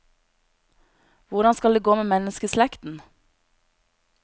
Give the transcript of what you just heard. Hvordan skal det gå med menneskeslekten?